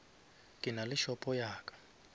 ke nale shopo ya ka